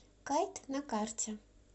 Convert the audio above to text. кайт на карте